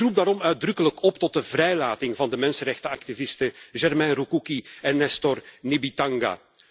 Ik roep daarom uitdrukkelijk op tot de vrijlating van de mensenrechtenactivisten Germain Rukuki en Nestor Nibitanga.